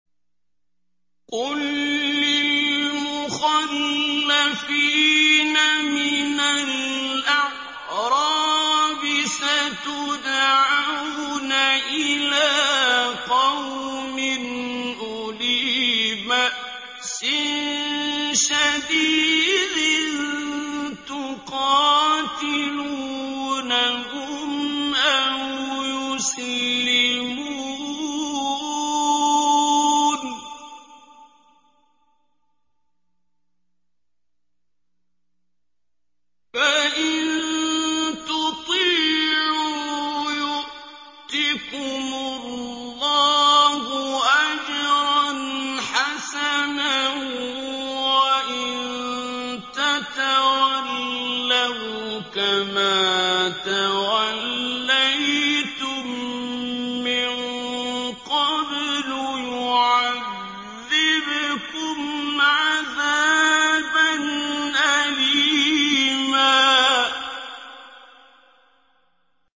قُل لِّلْمُخَلَّفِينَ مِنَ الْأَعْرَابِ سَتُدْعَوْنَ إِلَىٰ قَوْمٍ أُولِي بَأْسٍ شَدِيدٍ تُقَاتِلُونَهُمْ أَوْ يُسْلِمُونَ ۖ فَإِن تُطِيعُوا يُؤْتِكُمُ اللَّهُ أَجْرًا حَسَنًا ۖ وَإِن تَتَوَلَّوْا كَمَا تَوَلَّيْتُم مِّن قَبْلُ يُعَذِّبْكُمْ عَذَابًا أَلِيمًا